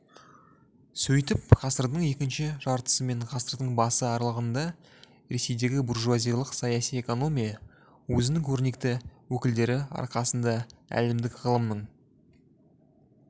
сөйтіп ғасырдың екінші жартысы мен ғасырдың басы аралығында ресейдегі буржуазиялық саяси экономия өзінің көрнекті өкілдері арқасында әлемдік ғылымның